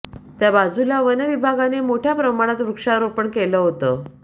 त्या बाजूला वनविभागाने मोठ्या प्रमाणात वृक्षारोपण केलं होतं